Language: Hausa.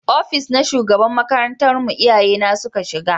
Ofis na shugaban makarantar mu iyaye na suka shiga